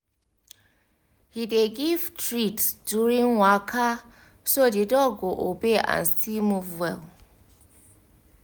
he dey give treats during waka so the dog go obey and still move well